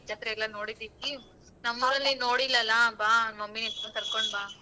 ಜಾತ್ರೆಯಲ್ಲ ನೋಡಿದಿವಿ ನಮ್ಮೂರಲ್ ನೀನ್ ನೋಡಿಲ್ಲಲ ಬಾ mummy ಎಲ್ರ್ನು ಕರ್ಕೊಂಡ್ ಬಾ.